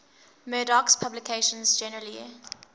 murdoch's publications generally